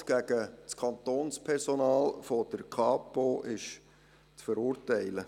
Gewalt gegen das Kantonspersonal der Polizei ist zu verurteilen.